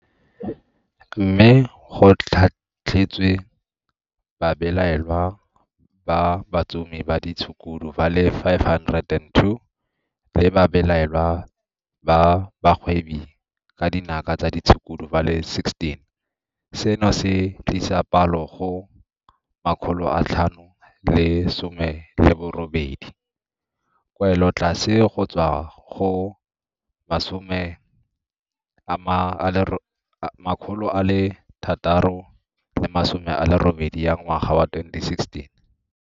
Mme go tlhatlhetswe babelaelwa ba batsomi ba ditshukudu ba le 502 le babelaelwa ba bagwebi ka dinaka tsa ditshukudu ba le 16, seno se tlisa palo go 518, kwelotlase go tswa go 680 ya ngwaga wa 2016.